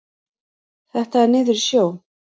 Þetta er niður í sjó.